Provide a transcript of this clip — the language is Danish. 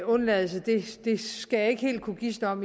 undladelse skal jeg ikke helt kunne gisne om